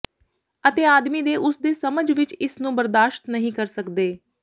ਅਤੇ ਆਦਮੀ ਦੇ ਉਸ ਦੇ ਸਮਝ ਵਿੱਚ ਇਸ ਨੂੰ ਬਰਦਾਸ਼ਤ ਨਹੀ ਕਰ ਸਕਦੇ